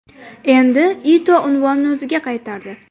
Endi Ito unvonni o‘ziga qaytardi.